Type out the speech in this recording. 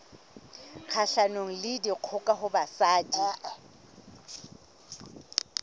kgahlanong le dikgoka ho basadi